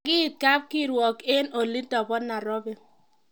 Kakiit kapkirwok eng olindo bo Nairobi